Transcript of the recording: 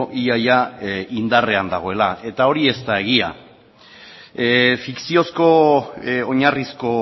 ia ia indarrean dagoela eta hori ez da egia fikziozko oinarrizko